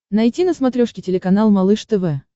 найти на смотрешке телеканал малыш тв